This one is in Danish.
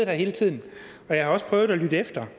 her hele tiden og jeg har også prøvet at lytte efter